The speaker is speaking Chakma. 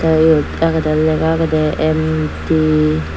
ta eyot agede lega ageda ame te.